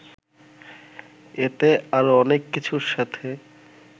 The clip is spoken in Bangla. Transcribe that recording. এতে আরও অনেক কিছুর সাথে